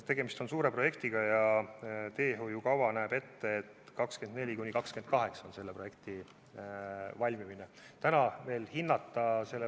Tegemist on suure projektiga ja teehoiukava näeb selle ehitamise ajaks ette aastad 2024–2028.